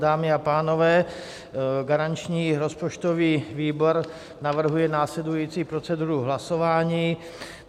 Dámy a pánové, garanční rozpočtový výbor navrhuje následující proceduru hlasování.